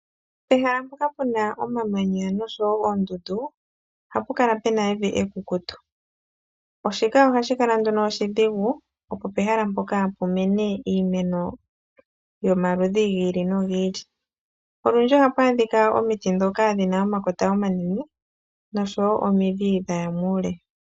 Ehala mpoka puna omamanya oshowoo oondundu, ohapu kala puna evi ekukutu. Shika ohashi dhigupaleke iimeno yimene yomaludhi giili nogili mokumena. Olundji ohapu adhika omiti ndhoka dhina omakota omanene noshowoo omidhi dhaya muule.